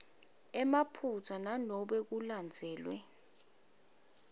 emaphutsa nanobe kulandzelwe